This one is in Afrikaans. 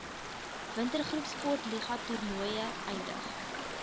wintergroepsportliga toernooie eindig